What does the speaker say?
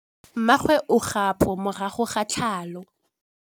Mmagwe o kgapô morago ga tlhalô.